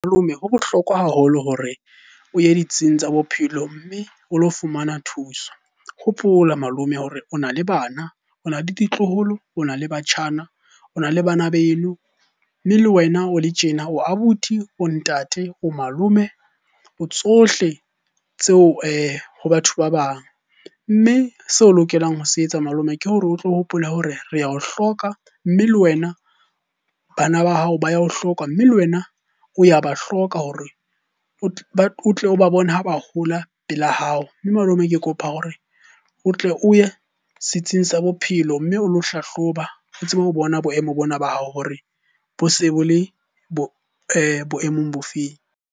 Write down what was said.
Malome, ho bohlokwa haholo hore o ye ditsing tsa bophelo mme o lo fumana thuso. Hopola malome hore o na le bana, o na le ditloholo, ona le matjhana, o na le bana beno. Mme le wena o le tjena o abuti, o ntate, o malome, o tsohle tseo ho batho ba bang. Mme seo o lokelang ho se etsa malome ke hore o tlo hopole hore re ao hloka, mme le wena bana ba hao ba ya o hloka, mme le wena o ya ba hloka hore o tle o ba bone ha ba hola pela hao. Mme malome ke kopa hore o tle o ye setsing sa bophelo, mme o lo hlahloba o tsebe ho bona boemo bona ba hao hore bo se bo le boemong bo feng?